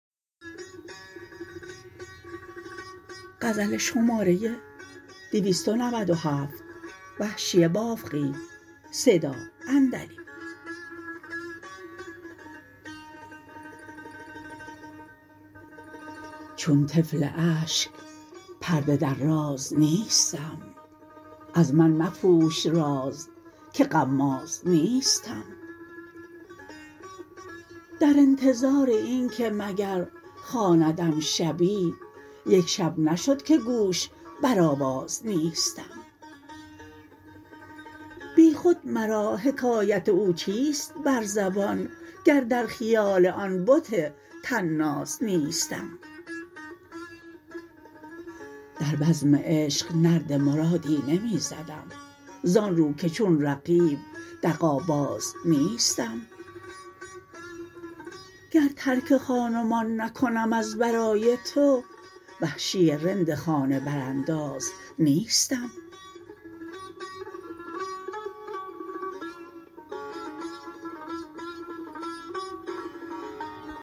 چون طفل اشک پرده در راز نیستم از من مپوش راز که غماز نیستم در انتظار اینکه مگر خواندم شبی یک شب نشد که گوش بر آواز نیستم بیخود مرا حکایت او چیست بر زبان گر در خیال آن بت طناز نیستم در بزم عشق نرد مرادی نمی زدم زانرو که چون رقیب دغا باز نیستم گر ترک خانمان نکنم از برای تو وحشی رند خانه برانداز نیستم